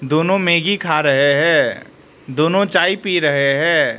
दोनों मैगी खा रहे हैं दोनो चाय पी रहे हैं।